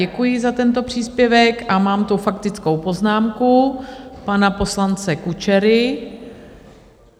Děkuji za tento příspěvek a mám tu faktickou poznámku pana poslance Kučery.